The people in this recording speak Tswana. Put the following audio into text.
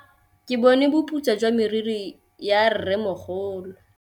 Ke bone boputswa jwa meriri ya rrêmogolo.